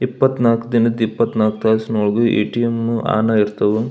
ಇಪ್ಪತ್ನಾಕ್ ದಿನದ್ ಇಪ್ಪತ್ನಾಕ್ ತಾಸುನೊಳಗೂ ಎ.ಟಿ.ಎಂ ಆನ್ ಆಗಿ ಇರ್ತವು.